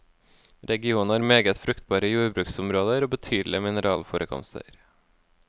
Regionen har meget fruktbare jordbruksområder og betydelige mineralforekomster.